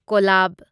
ꯀꯣꯂꯕ